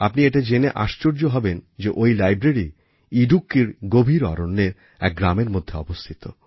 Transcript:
আপনি এটা জেনে আশ্চর্য হবেন যে ওই লাইব্রেরি ইডুক্কির গভীর অরণ্যের এক গ্রামের মধ্যে অবস্থিত